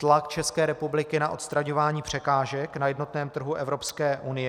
Tlak České republiky na odstraňování překážek na jednotném trhu Evropské unie.